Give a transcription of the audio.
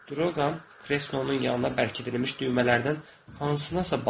Drolqam kreslonun yanına bərkidilmiş düymələrdən hansınasa basdı.